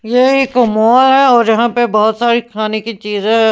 ये एक मॉल है और यहां पे बहुत सारी खाने की चीज है।